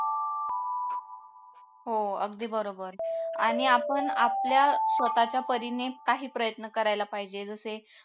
हो अगदी बरोबर आणि आपण आपल्या स्वतःच्या परीने काही प्रयत्न करायला पाहिजे जसे